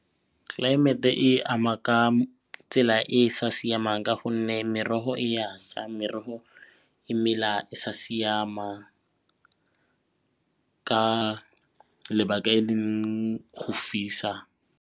Climate-e e ama ka tsela e e sa siamang ka gonne merogo e ya ša, merogo e mela e sa siama ka lebaka e leng go fisa.